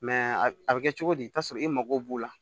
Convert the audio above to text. a bɛ kɛ cogo di i bɛ t'a sɔrɔ i mago b'o la